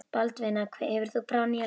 Baldvina, hefur þú prófað nýja leikinn?